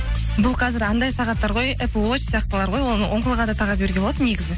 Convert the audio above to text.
бұл қазір андай сағаттар ғой сияқтылар ғой оны оң қолға да таға беруге болады негізі